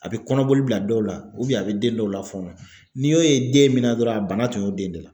A bɛ kɔnɔboli bila dɔw la a bɛ den dɔw la fɔnɔ n'i y'o ye den min na dɔrɔn a bana tun y'o den de la